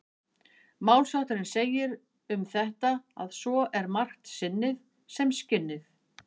Málshátturinn segir um þetta að svo er margt sinnið sem skinnið.